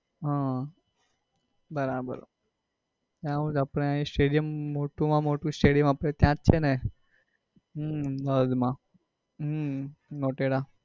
હમ બરાબર ત્યાં આપડે stadium મોટું માં મોટું stadium આપડે ત્યાં જ છે ને હમ હદ માં હમ મોટેરા